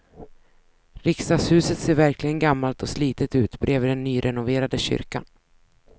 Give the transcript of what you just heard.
Riksdagshuset ser verkligen gammalt och slitet ut bredvid den nyrenoverade kyrkan.